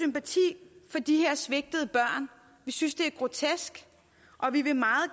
har de her svigtede børn vi synes det er grotesk og vi vil meget